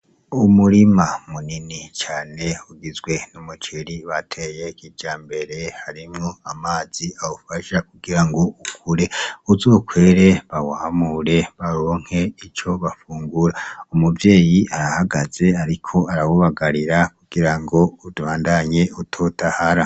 Umurima munini cane ugizwe n'umuceri bateye kijambere, harimwo amazi awufasha kugira ngo ukure, uzokwere bawamure, baronke ico bafungura. Umuvyeyi arahagaze ariko arawubagarira kugira ubandanye utotahara.